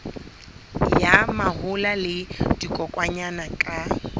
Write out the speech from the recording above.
ya mahola le dikokwanyana ka